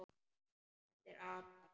Þessir apar!